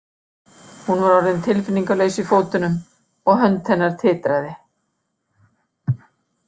Hún var orðin tilfinningalaus í fótunum og hönd hennar titraði.